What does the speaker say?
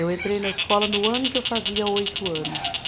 Eu entrei na escola no ano em que eu fazia oito anos.